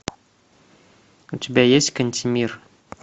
у тебя есть кантемир